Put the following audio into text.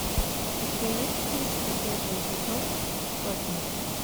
у тебя есть в списке первый эпизод сотня